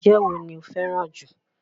oje wo ni ó fẹ́ràn jù?